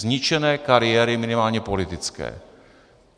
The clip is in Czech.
Zničené kariéry minimálně politické.